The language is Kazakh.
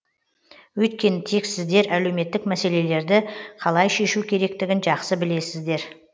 өйткені тек сіздер әлеуметтік мәселелерді қалай шешу керектігін жақсы білесіздер